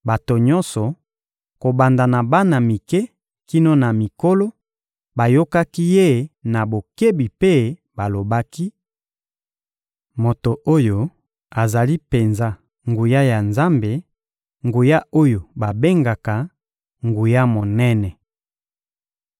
Bato nyonso, kobanda na bana mike kino na mikolo, bayokaki ye na bokebi mpe balobaki: «Moto oyo, azali penza nguya ya Nzambe, nguya oyo babengaka: Nguya monene.»